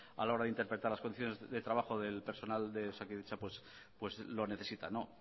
a la hora de interpretar las condiciones de trabajo del personal de osakidetza pues lo necesitan